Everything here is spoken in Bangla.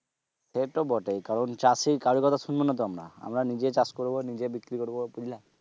সেতো বটেই। কারণ চাষী কারোর কথা শুনবো না তো আমরা, আমরা নিজে চাষ করবো নিজে বিক্রি করবো বুঝলা?